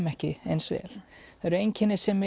ekki eins vel það eru einkenni sem